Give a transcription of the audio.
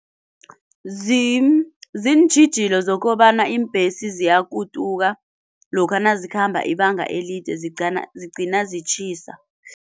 ziintjhijilo zokobana iimbhesi ziyakutuka lokha nazikhamba ibanga elide zigcina zitjhisa.